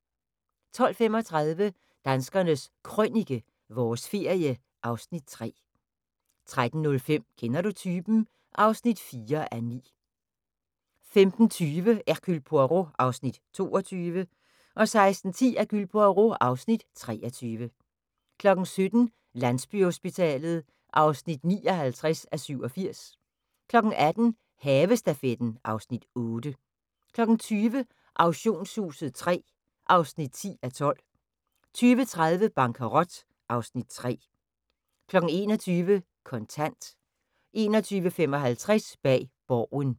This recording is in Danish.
12:35: Danskernes Krønike - vores ferie (Afs. 3) 13:05: Kender du typen? (4:9) 15:20: Hercule Poirot (Afs. 22) 16:10: Hercule Poirot (Afs. 23) 17:00: Landsbyhospitalet (59:87) 18:00: Havestafetten (Afs. 8) 20:00: Auktionshuset III (10:12) 20:30: Bankerot (Afs. 3) 21:00: Kontant 21:55: Bag Borgen